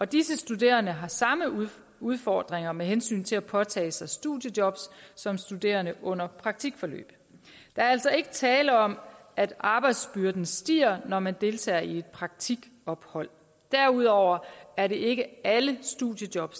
disse studerende har samme udfordringer med hensyn til at påtage sig studiejob som studerende under praktikforløb der er altså ikke tale om at arbejdsbyrden stiger når man deltager i praktikophold derudover er det ikke alle studiejob